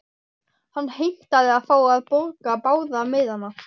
Hann heimtaði að fá að borga báða miðana.